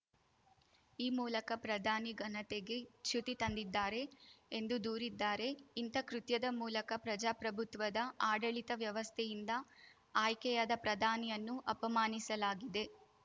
ಈ ಮೂಲಕ ಪ್ರಧಾನಿ ಘನತೆಗೆ ಚ್ಯುತಿ ತಂದಿದ್ದಾರೆ ಎಂದು ದೂರಿದ್ದಾರೆ ಇಂಥ ಕೃತ್ಯದ ಮೂಲಕ ಪ್ರಜಾಪ್ರಭುತ್ವದ ಆಡಳಿತ ವ್ಯವಸ್ಥೆಯಿಂದ ಆಯ್ಕೆಯಾದ ಪ್ರಧಾನಿಯನ್ನು ಅಪಮಾನಿಸಲಾಗಿದೆ